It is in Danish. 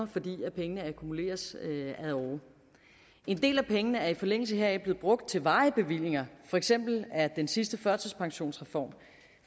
fordi pengene akkumuleres ad åre en del af pengene er i forlængelse heraf blevet brugt til varige bevillinger for eksempel er den sidste førtidspensionsreform